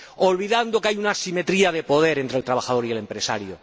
olvidando que hay una asimetría de poder entre el trabajador y el empresario.